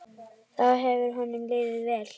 Þá hefur honum liðið vel.